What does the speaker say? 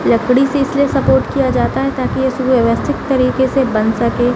लकड़ी से इसलिए स्पोर्ट किया जाता हैं ताकि ये सुव्यवस्थित तरीके से बन सके।